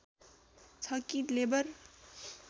छ कि लेबर